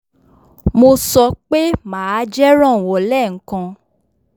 mo sọ pé màá jẹ́ rànwọ́ lẹ́ẹ̀kan